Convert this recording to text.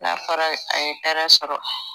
n'a fɔra a ye hɛrɛ sɔrɔ